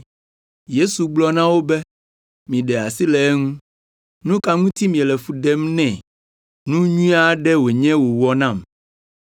Yesu gblɔ na wo be, “Miɖe asi le eŋu. Nu ka ŋuti miele fu ɖem nɛ? Nu nyui aɖe wònye wòwɔ nam.